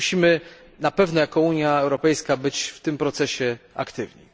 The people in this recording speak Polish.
Musimy na pewno jako Unia Europejska być w tym procesie aktywni.